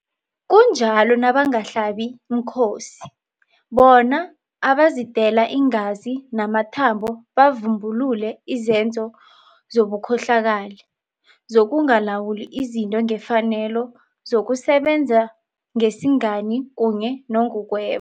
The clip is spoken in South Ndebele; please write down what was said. Kunjalo nangabahlabimkhosi, bona abazidela iingazi namathambo bavumbulule izenzo zobukhohlakali, zokungalawuli izinto ngefanelo, zokusebenza ngesingani kunye nangokweba.